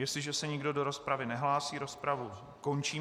Jestliže se nikdo do rozpravy nehlásí, rozpravu končím.